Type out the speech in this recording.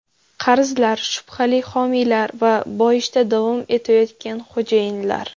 Qarzlar, shubhali homiylar va boyishda davom etayotgan xo‘jayinlar.